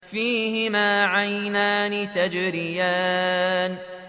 فِيهِمَا عَيْنَانِ تَجْرِيَانِ